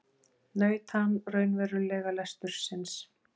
Naut hann raunverulega lestursins?